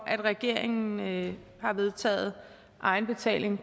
at regeringen har vedtaget egenbetaling